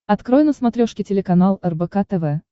открой на смотрешке телеканал рбк тв